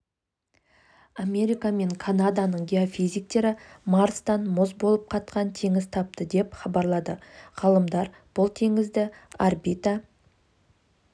америка мен канаданың геофизиктері марстан мұз болып қатқан теңіз тапты деп хабарлады ғалымдар бұл теңізді орбита